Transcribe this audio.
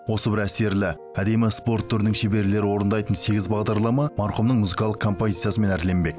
осы бір әсерлі әдемі спорт түрінің шеберлері орындайтын сегіз бағдарлама марқұмның музыкалық композициясымен әрленбек